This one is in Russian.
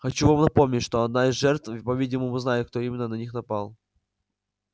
хочу вам напомнить что одна из жертв по-видимому знает кто именно на них напал